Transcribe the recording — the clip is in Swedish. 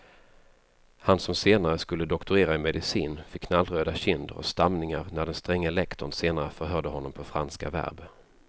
Han som senare skulle doktorera i medicin fick knallröda kinder och stamningar när den stränge lektorn senare förhörde honom på franska verb.